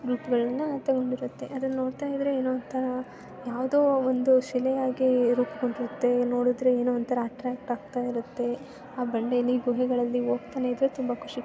ರೂಪಗಳನ್ನ ಅಂಟಗೊಂಡಿರುತ್ತದೆ. ಅದನ್ನ ನೋಡ್ತಾ ಇದ್ದರೆ ಏನೋ ಒಂಥರಾ ಯಾವೊದೋ ಒಂದು ಶಿಲೆಯಾಗಿ ರೂಪಗೊಂಡಿರುತ್ತದೆ. ನೋಡಿದರೆ ಏನೋ ಒಂಥರಾ ಅಟ್ರಾಕ್ಟ್